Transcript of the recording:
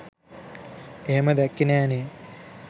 එහෙම දැක්කේ නෑනේ